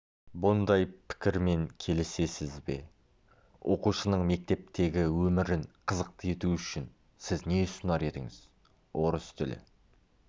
бұндай пікірмен келісесіз бе оқушының мектептегі өмірін қызықты ету үшін сіз не ұсынар едіңіз орыс тілі